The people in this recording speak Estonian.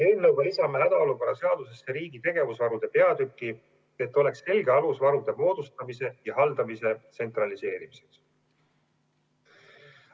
Eelnõuga lisame hädaolukorra seadusesse riigi tegevusvarude peatüki, et oleks selge alus varude moodustamise ja haldamise tsentraliseerimiseks.